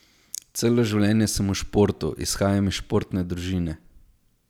Celo življenje sem v športu, izhajam iz športne družine.